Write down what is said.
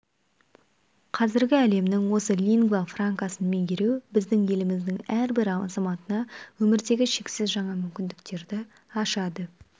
қазіргі әлемнің осы лингва франкасын меңгеру біздің еліміздің әрбір азаматына өмірдегі шексіз жаңа мүмкіндіктерді ашады